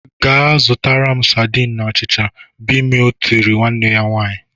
"Gaa zụtara m sardine na achịcha !" Bimoe tirile nwanne ya nwaanyị.